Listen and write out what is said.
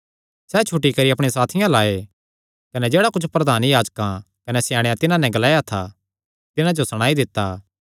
सैह़ छुटी करी अपणे साथियां अल्ल आये कने जेह्ड़ा कुच्छ प्रधान याजकां कने स्याणेयां तिन्हां नैं ग्लाया था तिन्हां जो सणाई दित्ता